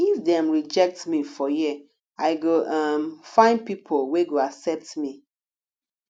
if dem rejectme for here i go um find pipo wey go accept me